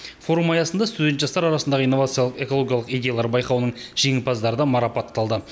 форум аясында студент жастар арасындағы инновациялық экологиялық идеялар байқауының жеңімпаздары марапатталды